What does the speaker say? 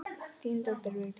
Þín dóttir, Vigdís.